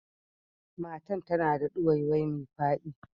Matan ta na da duwaiwai mai fadi.